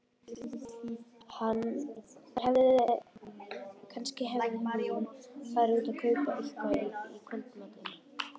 Kannski hafði hún farið út að kaupa eitthvað í kvöldmatinn.